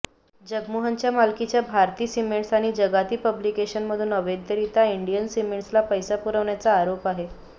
जगनमोहनच्या मालकीच्या भारती सिमेंटस आणि जगाती पब्लिकेशनमधून अवैधरित्या इंडिया सिमेंटसला पैस पुरविल्याचा आरोप आहे